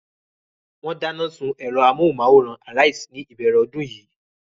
Wọ́n dáná sun ẹ̀rọ amóhùmáwòhán Arise ní ìbẹ̀rẹ̀ ọdún yìí.